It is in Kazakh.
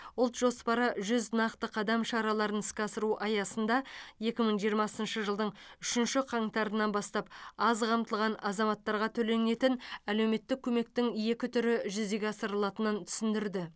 ұлт жоспары жүз нақты қадам шараларын іске асыру аясында екі мың жиырмасыншы жылдың үшінші қаңтарынан бастап аз қамтылған азаматтарға төленетін әлеуметтік көмектің екі түрі жүзеге асырылатынын түсіндірді